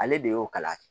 Ale de y'o kala